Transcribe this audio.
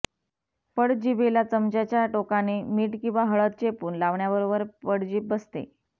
पडजिभेला चमच्याच्या टोकाने मीठ किंवा हळद चेपून लावण्याबरोबर पडजीभ बसते